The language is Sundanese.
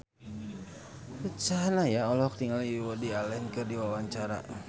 Ruth Sahanaya olohok ningali Woody Allen keur diwawancara